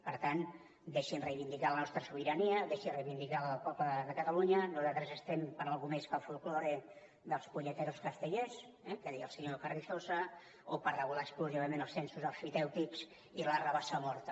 per tant deixin reivindicar la nostra sobirania deixin reivindicar la del poble de catalunya nosaltres estem per alguna cosa més que el folklore dels puñeteros castellers eh que deia el senyor carrizosa o per regular exclusivament els censos emfitèutics i la rabassa morta